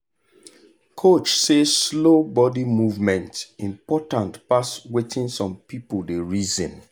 coach say slow body movement important pass wetin some people dey reason